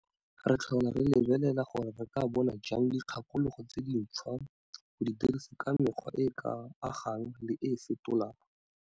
Re tlhola re lebelela gore re ka bona jang dikgakologo tse dintshwa go di dirisa ka mekgwa e e ka agang le e fetolang.